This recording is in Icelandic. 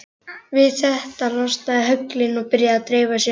Við þetta losna höglin og byrja að dreifa sér.